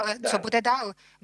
Ale co bude dál?